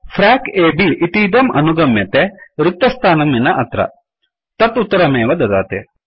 फ्रैक A B frac अ ब् इतीदम् अनुगम्यते रिक्तस्थानं विना अत्र तत् उत्तरमेव ददाति